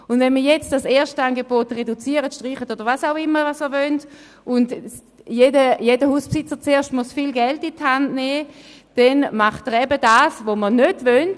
Wenn wir jetzt das Erstangebot reduzieren, streichen oder was auch immer Sie wollen und jeder Hausbesitzer erst viel Geld in die Hand nehmen muss, dann tut er eben das, was wir gerade nicht wollen: